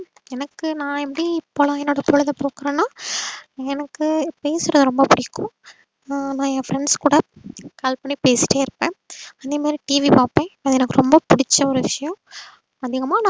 எனக்கு நா எப்டி பலவிதத்துல பொழுத போக்குறேன்னா எனக்கு பேசுறது ரொம்ப புடிக்கும் அஹ் நா என் friends க்கூட call பண்ணி பேசிட்டே இருப்பேன். அதேமாறி TV பாப்பேன் எனக்கு ரொம்ப புடிச்ச ஒரு விஷயம் அதிகமா நா